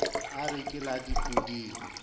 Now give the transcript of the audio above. a re ke la dipoding